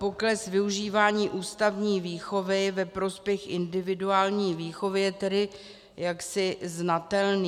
Pokles využívání ústavní výchovy ve prospěch individuální výchovy je tedy jaksi znatelný.